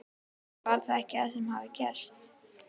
Var það ekki það sem hafði gerst?